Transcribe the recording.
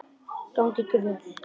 Gangi ykkur vel.